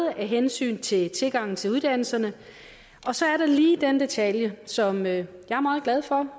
er af hensyn til tilgangen til uddannelserne og så er der lige den detalje som jeg er meget glad for